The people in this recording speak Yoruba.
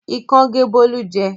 Ikán gé Bólú jẹ.